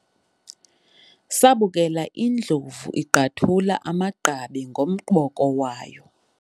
sabukela indlovu igqwathula amagqabi ngomboko wayo